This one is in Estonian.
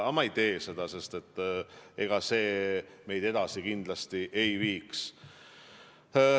Aga ma ei tee seda, sest ega see meid edasi kindlasti ei viiks.